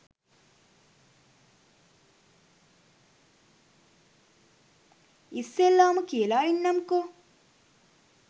ඉස්සෙල්ලාම කියලා ඉන්නම්කො